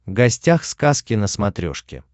гостях сказки на смотрешке